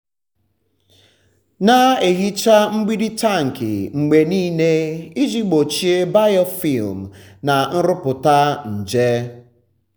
na-ehicha mgbidi tankị mgbe niile iji gbochie biofilm na nrụpụta nje.